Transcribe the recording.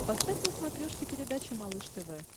поставь на смотрешке передачу малыш тв